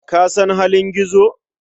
Ka san halin Gizo?